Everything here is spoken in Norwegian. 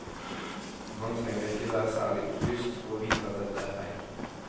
Man trenger ikke være særlig opplyst for å vite at dette er feil.